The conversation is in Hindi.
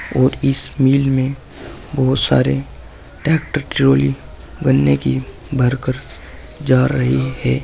और इस मिल में बहुत सारे ट्रैक्टर ट्रॉली बनने की भर कर जा रही है।